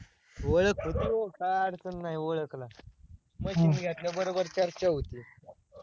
ओळख होती बा काय अडचण नाय ओळखला machine घेतल्या बरोबर चर्चा होते